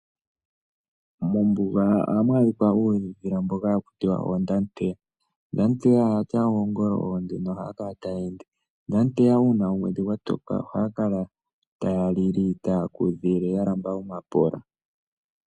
Mombuga ohamu adhika oondhila ndhoka haku tiwa oondamuteya. Oondamuteya oyatya oongolo oonde nohaya kala taya ende . Oondamuteya uuna omwedhi gwa toka ohaya kala taya lili taya kudhile ya lamba omapola.